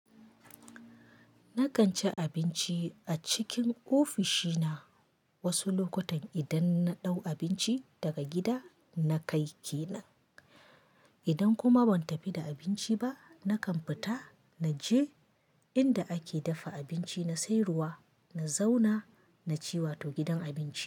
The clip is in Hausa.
Nakan ci abinci a cikin ofishina wasu lokutan idan na ɗau abinci daga gida na kai kenan. Idan kuma ban tafi da abinci ba, nakan fita na je inda ake dafa abinci na sayarwa, na zauna na ci wato gidan abinci.